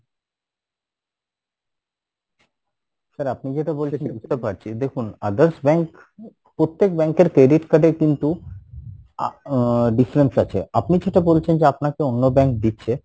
sir আপনি যেটা বলছেন বুঝতে পারছি, দেখুন others bank প্রত্যেক bank এর credit card এর কিন্তু আহ difference আছে আপনি যেটা বলছেন যে আপনাকে অন্য bank দিচ্ছে